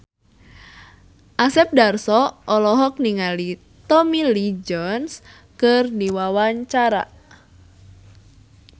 Asep Darso olohok ningali Tommy Lee Jones keur diwawancara